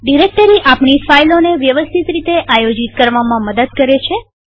directory આપણી ફાઈલોને વ્યવસ્થિત રીતે આયોજિતઓર્ગેનાઈઝ કરવામાં મદદ કરે છે